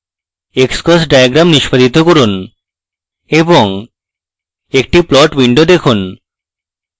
xcos diagram নিষ্পাদিত করুন এবং একটি plot window দেখুন